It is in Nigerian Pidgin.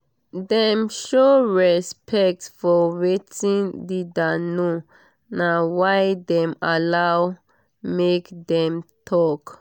dem show respect for wetin leader know na why dem allow make dem talk